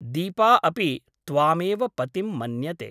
दीपा अपि त्वामेव पतिं मन्यते ।